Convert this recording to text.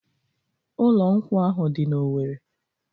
Ụlọ nkwụ ahụ dị n'Owere.